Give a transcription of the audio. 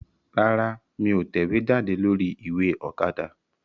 Rárá, mí ò tẹ̀wéjáde lórí ìwé Òkadà